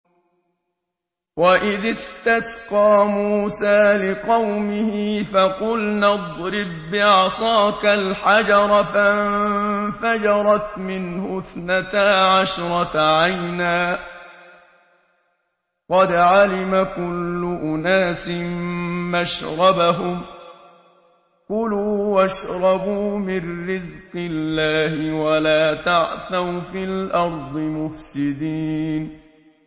۞ وَإِذِ اسْتَسْقَىٰ مُوسَىٰ لِقَوْمِهِ فَقُلْنَا اضْرِب بِّعَصَاكَ الْحَجَرَ ۖ فَانفَجَرَتْ مِنْهُ اثْنَتَا عَشْرَةَ عَيْنًا ۖ قَدْ عَلِمَ كُلُّ أُنَاسٍ مَّشْرَبَهُمْ ۖ كُلُوا وَاشْرَبُوا مِن رِّزْقِ اللَّهِ وَلَا تَعْثَوْا فِي الْأَرْضِ مُفْسِدِينَ